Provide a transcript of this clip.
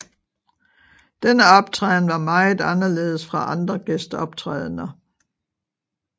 Denne optræden var meget anderledes fra andre gæsteoptrædender